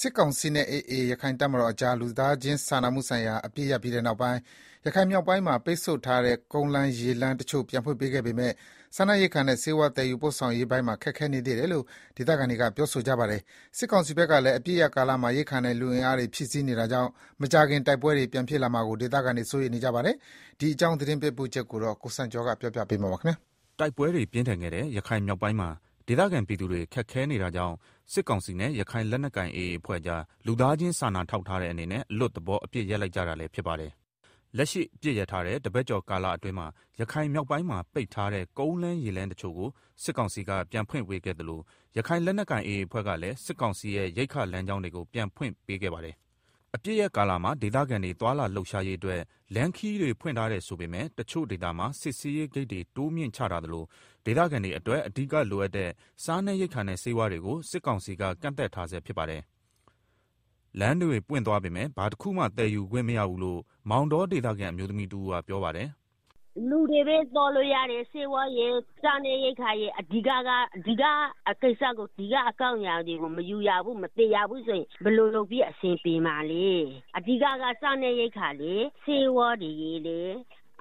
စစ်ကောင်စီနဲ့ AA ရခိုင်တပ်တော်ကြား လူသားချင်းစာနာမှုဆိုင်ရာ အပစ်ရပ်ပြီးနောက်ပိုင်း ရခိုင်မြောက်ပိုင်းမှာ ပိတ်ဆို့ထားတဲ့ ကုန်လမ်းရေလမ်းတချို့ကို ပြန်ဖွင့်ပေးပေမဲ့ စားနပ်ရိက္ခာနဲ့ ဆေးဝါးသယ်ယူရေးပိုင်းတွေမှာ ခက်ခဲနေသေးတယ်လို့ ဒေသခံတွေက ပြောကြပါတယ်။ စစ်ကောင်စီဘက်ကလည်း အပစ်ရပ်ကာလမှာ ရိက္ခာနဲ့လူအင်အားတွေ ဖြည့်တင်းနေတာကြောင့် မကြာခင် တိုက်ပွဲတွေ ပြန်ဖြစ်လာမှာကို ဒေသခံတွေ စိုးရိမ်နေကြပါတယ်။ ရခိုင်ပြည်နယ်တွင်း နောက်ဆုံးအခြေအနေ သတင်ပေးပို့ချက်ကို ကိုစံကျော်က တင်ပြပေးထားပါတယ်။ တိုက်ပွဲတွေပြင်းထန်ခဲ့တဲ့ ရခိုင်မြောက်ပိုင်းမှာ ဒေသခံပြည်သူတွေ ခက်ခဲနေတာကြောင့် စစ်ကောင်စီနဲ့ ရခိုင်လက်နက်ကိုင် AA အဖွဲ့ကြား လူသားချင်း စာနာထောက်ထားတဲ့အနေနဲ့ အလွတ်သဘောအပစ်ရပ်လိုက်ကြတာလည်း ဖြစ်ပါတယ်။ လက်ရှိ အပစ်ရပ်ထားတာတပတ်ကျော်အတွင်းမှာ ရခိုင်မြောက်ပိုင်းမှာ ပိတ်ထားတဲ့ ကုန်းလမ်းရေလမ်းတချို့ကို စစ်ကောင်စီက ပြန်ဖွင့်ပေးခဲ့သလို ရခိုင်လက်နက်ကိုင် AA အဖွဲ့ကလည်း စစ်ကောင်စီရဲ့ရိက္ခာလမ်းကြောင်းတွေကို ပြန်ဖွင့်ပေးခဲ့ပါတယ်။ အပစ်ရပ်ကာလမှာ ဒေသခံတွေ သွားလာလှုပ်ရှားရေးအတွက် လမ်းခရီးတွေ ဖွင့်ပေးထားတယ်ဆိုပေမယ့် တချို့ဒေသမှာ စစ်ဆေးရေးဂိတ်တွေ တိုးမြှင့်ချထားသလို ဒေသခံတွေအတွက် အဓိကလိုအပ်တဲ့ စားနပ်ရိက္ခာနဲ့ ဆေးဝါးတွေကို စစ်ကောင်စီက ကန့်သတ်ထားဆဲဖြစ်ပါတယ်။ လမ်းတွေပွင့်သွားပေမယ့် ဘာတခုမှ သယ်ယူခွင့်မရဘူးလို့ မောင်တောဒေသခံ အမျိုးသမီးတဦး ပြောပါတယ်။ “လူတွေပဲ သွားလို့ရတယ်။ စားနပ်ရိက္ခာရယ်၊ ဆေးဝါးရယ် စတဲ့ အဓိကအကြောင်းအရာတွေကို မယူရဘူး၊ မသယ်ရဘူးဆိုရင် ဘယ်လိုလုပ်ပြီး အဆင်ပြေမှာလဲ။ အဓိက အရေးကြီးတာက စားနပ်ရိက္ခာနဲ့ ဆေးဝါးရယ်၊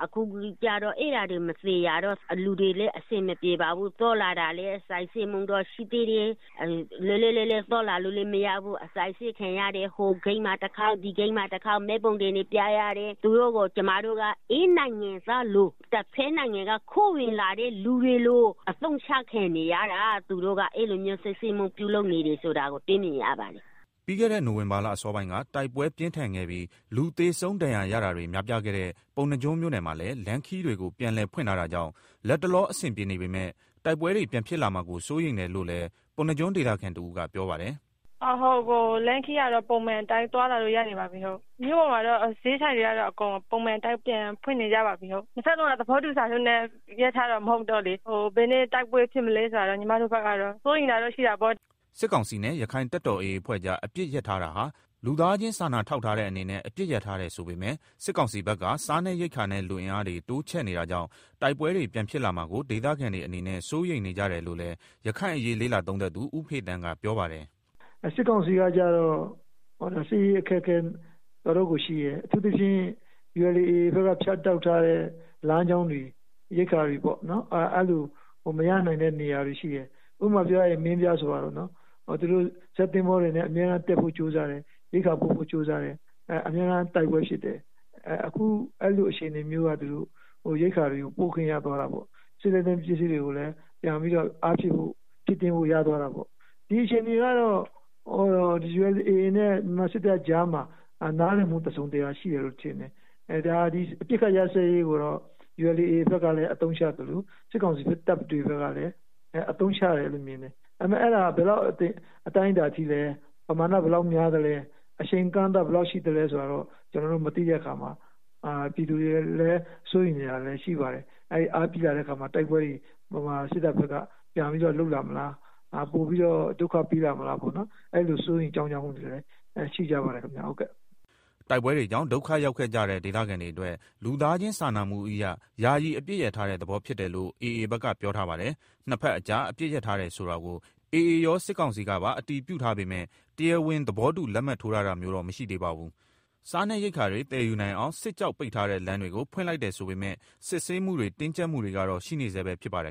အဲဒါတွေ မသယ်ရတော့ လူတွေလည်း အဆင်မပြေဘူး။ သွားလာတာလည်း စစ်ဆေးမှုတွေတော့ ရှိသေးတယ်။ လွတ်လွတ်လပ်လပ်သွားလာလို့ မရသေးဘူး။ အစစ်အဆေးခံရတယ်။ ဟိုဂိတ်မှာတခေါက်၊ ဒီဂိတ်မှာတခေါက်၊ မှတ်ပုံတင်တွေပြရတယ်။ ကျမတို့က ဧည့်နိုင်ငံသားလို တဘက်နိုင်ငံက ခိုးဝင်လာတဲ့သူတွေလို အသုံးချခံနေရတာ၊ အဲလိုမျိုးတွေလုပ်နေတာကို တွေ့မြင်ရပါတယ်။” ပြီးခဲ့တဲ့ နိုဝင်ဘာလအစောပိုင်းက တိုက်ပွဲပြင်းထန်ခဲ့ပြီး လူသေဆုံး ဒဏ်ရာရတာတွေ များပြားခဲ့တဲ့ ပုဏ္ဏားကျွန်းမြို့နယ်မှာလည်း လမ်းခရီးတွေကို ပြန်လည်ဖွင့်ထားတာကြောင့် လတ်တလော အဆင်ပြေနေပေမဲ့ တိုက်ပွဲတွေ ပြန်ဖြစ်လာမှာကို စိုးရိမ်တယ်လို့လည်း ပုဏ္ဏားကျွန်းဒေသခံတဦးကပြောပါတယ်။ “လမ်းခရီးကတော့ ပုံမှန်အတိုင်းသွားလာလို့ရနေပါပြီ။ မြို့ပေါ်မှာလည်း ဈေးဆိုင်တွေ ပုံမှန်အတိုင်းပြန်ဖွင့်နေကြပါပြီ။ ဟုတ်။ နှစ်ဘက်လုံးက သဘောတူစာချုပ်နဲ့ အပစ်ရပ်ထားတာမဟုတ်တော့လေ- ဘယ်နေ့ တိုက်ပွဲပြန်ဖြစ်မလဲဆိုတာတော့ စိုးရိမ်တာပေါ့။” စစ်ကောင်စီနဲ့ ရခိုင်တပ်မတော် AA အဖွဲ့ကြား အပစ်ရပ်ထားတာဟာ လူသားချင်းစာထောက်ထားတဲ့အနေနဲ့ အပစ်ရပ်ထားတယ်ဆိုပေမဲ့ စစ်ကောင်စီဘက်က စားနပ်ရိက္ခာနဲ့ လူအင်အားတွေ တိုးချဲ့နေကြတာကြောင့် တိုက်ပွဲတွေ ပြန်ဖြစ်လာမှာကို ဒေသခံတွေအနေနဲ့ စိုးရိမ်နေကြတယ်လို့လည်း ရခိုင်အရေး လေ့လာသုံးသပ် သူ ဦးဖေသန်း ပြောပါတယ်။ “စစ်ကောင်စီကတော့ စစ်ရေးအခက်အခဲ တော်တော်ရှိတယ်။ အထူးသဖြင့် ULA/AA ဘက်က ဖြတ်တောက်ထားတဲ့ လမ်းကြောင်းတွေ ရိက္ခာတွေပေါ့၊ အဲလိုမရနိုင်တဲ့နေရာတွေရှိတယ်။ ဥပမာပြောရရင် မင်းပြားလိုနေရာပေါ့။ ဇက်သင်္ဘောတွေနဲ့ အမြဲတမ်းတက်ဖို့ ကြိုးစားနေတယ်။ ရိက္ခာပို့ဖို့ကြိုးစားတိုင်း အမြဲတမ်းတိုက်ပွဲဖြစ်တယ်။ အခုအဲလိုအခြေအနေမျိုးကနေ သူတို့ ရိက္ခာပို့ဖို့ ရသွားတာပေါ့။ ဒီအခြေအနေကတော့ ULAနဲ့ မြန်မာစစ်တပ်ကြားမှာ နားလည်မှု တစုံတရာရှိတယ်လို့ မြင်တယ်။....အပစ်ရပ်စဲရေးကိုတော့ AA ဘက်ကအသုံးချသလို စစ်ကောင်စီဘက်ကလည်း အသုံးချတယ်လို့မြင်တယ်။ ဒါပေမဲ့ အဲဒါက ဘယ်လောက် အတိုင်းအတာထိလဲ၊ ပမာဏ ဘယ်လောက်များသလဲ၊ အချိန်အကန့်အသတ် ဘယ်လောက်ရှိသလဲ ဆိုတာ ကျနော်တို့မသိတဲ့အခါမှာ ပြည်သူတွေ စိုးရိမ်နေတာလည်းရှိပါတယ်။ မြန်မာစစ်တပ်ဘက်က ပိုပြီးတော့လုပ်လာမလား၊ ပြန်ပြီးတော့ ဒုက္ခပေးလာမလား စိုးရိမ်ကြောင့်ကြမှုတွေလည်း ရှိကြပါတယ်ခင်ဗျာ။” တိုက်ပွဲတွေကြောင့် ဒုက္ခရောက်ကြတဲ့ ဒေသခံတွေအတွက် လူသားချင်းစာနာမှုအရ ယာယီအပစ်ရပ်ထားတဲ့ သဘောဖြစ်တယ်လို့ AA ဘက်က ပြောထားပါတယ်။ နှစ်ဘက်ကြား အပစ်ရပ်ထားတယ်ဆိုတာကို AA ရော စစ်ကောင်စီကပါ အတည်ပြုထားပေမဲ့ တရားဝင် သဘောတူလက်မှတ်ထိုးတာမျိုးတော့ မရှိသေးပါဘူး။ စားရေရိက္ခာတွေ သယ်ယူနိုင်အောင် စစ်ကြောင့် ပိတ်ထားတဲ့လမ်းတွေကို ဖွင့်လိုက်တယ်ဆိုပေမဲ့ စစ်ဆေးမှုတွေ တင်းကြပ်မှုတွေကတော့ ရှိနေဆဲပဲဖြစ်ပါတယ်